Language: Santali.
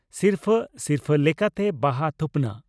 ᱥᱤᱨᱯᱷᱟᱹ ᱥᱤᱨᱯᱷᱟᱹ ᱞᱮᱠᱟᱛᱮ ᱵᱟᱦᱟ ᱛᱷᱩᱯᱱᱟᱜ